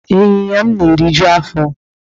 Ịnyinya m na-eriju afọ.